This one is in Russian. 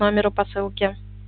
номеру посылки